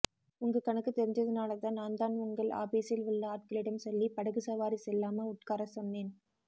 உங்க கணக்கு தெரிஞ்சதுனாலதான் நாந்தான் உங்கள் ஆபீஸில் உள்ள ஆட்களிடம் சொல்லி படகு சவாரி செல்லாம உட்காரஸ் சொன்னேன்